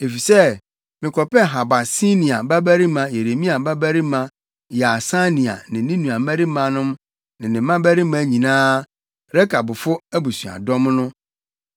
Enti mekɔpɛɛ Habasinia babarima Yeremia babarima Yaasania ne ne nuabarimanom ne ne mmabarima nyinaa, Rekabfo abusuadɔm no.